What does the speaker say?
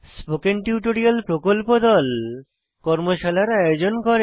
spoken tutorial প্রকল্প দল কর্মশালার আয়োজন করে